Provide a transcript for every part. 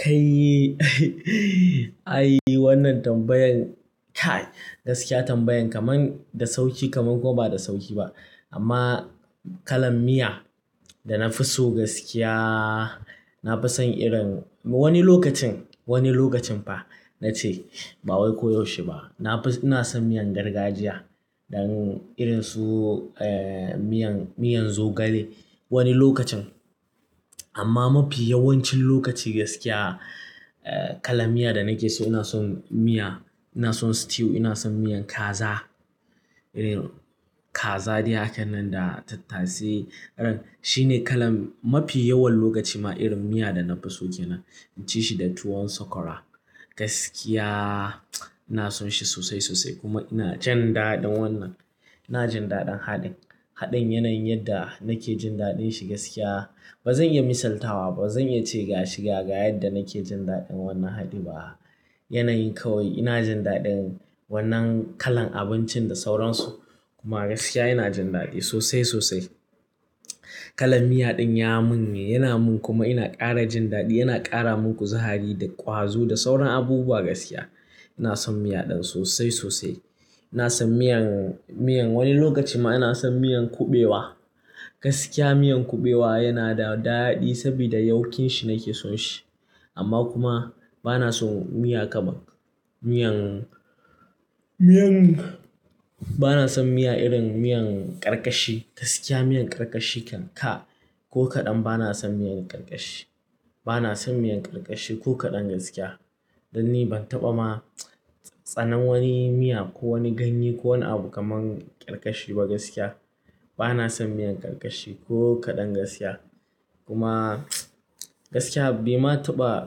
Kai ai wannan tambayan kai gaskiya tambayan kaman da sauki kaman kuma ba da sauki ba. Amma kalan miya da na fi so gaskiya, na fi son irin wani lokacin, wani lokacin fa na ce ba wai koyaushe ba. Na fi-- ina son miyan gargajiya dan irin su miyan, miyan zogale wani lokacin. Amma mafi yawancin lokaci gaskiya kalan miya da nake so ina son miya, ina son stew, ina son miyan kaza. Irin kaza dai hakan nan da tattasai, irin shi ne kalan mafi yawan lokaci ma irin miya da na fi so ke nan. Na ce shi da tuwon sakwara. Gaskiya ina son shi sosai, sosai kuma ina jin daɗin wannan. Ina jin daɗin haɗin, haɗin yanayin yadda nake jin daɗin shi gaskiya. Ba zan iya misaltawa ba, zan iya ce ga shi, ga yadda nake jin daɗin wannan haɗi ba. Yanayin kawai ina jin daɗin wannan kalan abincin da sauransu. Kuma gaskiya ina jin daɗi sosai, sosai. Kalan miya ɗin ya min ne, yana min kuma ina ƙara jin daɗi. Yana ƙara min kuzari da ƙwazo da sauran abubuwa gaskiya. Ina son miya ɗin sosai, sosai. Ina son miyan, miyan wani lokacin ma ina son miyan kuɓewa. Gaskiya miyan kuɓewa yana da daɗi saboda yauƙin shi nake son shi. Amma kuma ba na son miya kamar miyan, miyan-- ba na son miya irin miyan karkashi. Gaskiya miyan karkashi kan kai! Ko kaɗan ba na son miyan karkashi. Ba na son miyan karkashi ko kaɗan gaskiya. Dan ni ban taɓa ma tsanan wani miya ko wani ganye ko wani abu kaman ƙarkashi ba gaskiya. Ba na son miyan karkashi ko kaɗan gaskiya. Kuma gaskiya bai ma taɓa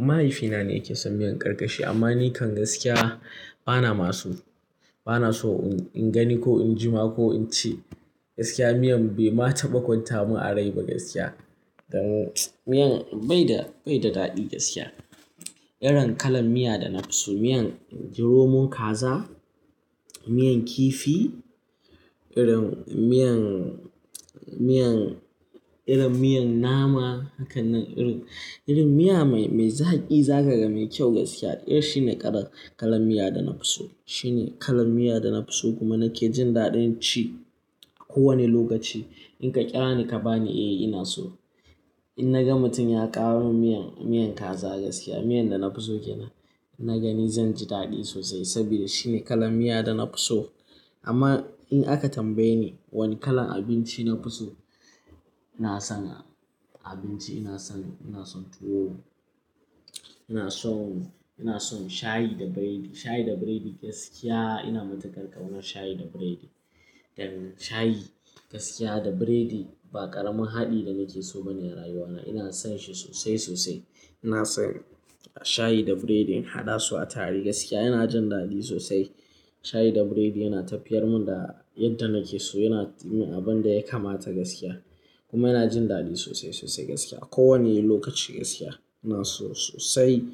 mahaifina ne yake son miyan karkashi amma ni kan gaskiya ba na ma so. Ba na so in, in gani ko in jima ko in ci. Gaskiya miyan bai ma taɓa kwanta mun a rai ba gaskiya. Dan miyan bai da, bai da daɗi gaskiya. Irin kalan miya da na fi so miyan romon kaza, miyan kifi, irin miyan, miyan, irin miyan nama hakan nan irin, irin miya mai, mai zaƙi zakaga mai kyau gaskiya. Irin shi ne kalan miya da na fi so. Shi ne kalan miya da na fi so kuma na ke jin daɗin ci ko wani lokaci. In ka ƙira ni ka bani eh ina so. In naga mutum ya kawo mun miyan, miyan kaza gaskiya miyan da na fi so ke nan. Na gani zan ji daɗi sosai saboda shi ne kalan miya da na fi so. Amma in aka tambaye ni wani kalan abinci na fi so, ina san abinci ina son, ina son tuwo. Ina son, ina son shayi da biredi. Shayi da biredi gaskiya ina matuƙar ƙaunar shayi da biredi. Dan shayi gaskiya da biredi ba ƙaramin haɗi da nake so bane a rayuwa na. Ina son shi sosai, sosai. Ina son shayi da biredi in haɗa su a tare gaskiya ina jin daɗi sosai. Shayi da biredi yana tafiyar mun da yadda nake so yana yi mun abun da ya kamata gaskiya. Kuma ina jin daɗi sosai, sosai gaskiya. Ko wanne lokaci gaskiya ina so sosai.